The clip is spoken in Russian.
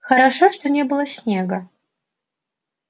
хорошо что не было снега